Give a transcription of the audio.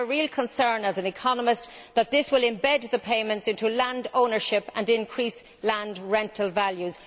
I have a real concern as an economist that this will embed the payments into land ownership and increase land rental values.